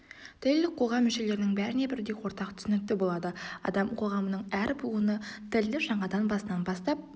тіл қоғам мүшелерінің бәріне бірдей ортақ түсінікті болады адам қоғамының әр буыны тілді жаңадан басынан бастап